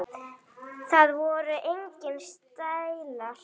Það voru engir stælar.